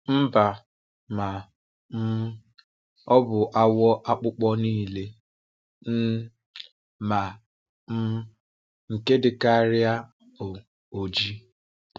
Mba, ma um ọ bụ awọ̀ akpụkpọ nile, um ma um nke dịkarị bụ́ ojii.